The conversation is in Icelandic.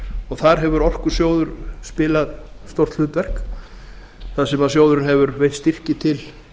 og þar hefur orkusjóður spilað stórt hlutverk þar sem sjóðurinn hefur veitt styrki til